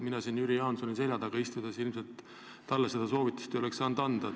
Mina siin Jüri Jaansoni selja taga istudes ilmselt talle seda soovitust ei oleks saanud anda.